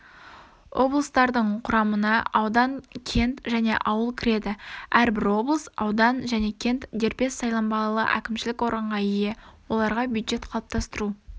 облыстардың құрамына аудан кент және ауыл кіреді әрбір облыс аудан және кент дербес сайланбалы кімшілік органға ие оларға бюджет қалыптастыру